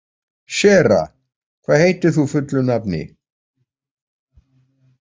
Sera, hvað heitir þú fullu nafni?